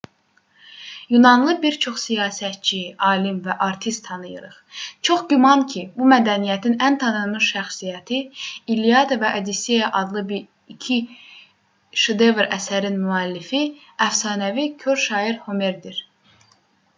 yunanlı bir çox siyasətçi alim və artist tanıyırıq. çox güman ki bu mədəniyyətin ən tanınmış şəxsiyyəti i̇lliada və odisseya adlı iki şedevr əsərin müəllifi əfsanəvi kor şair homerdir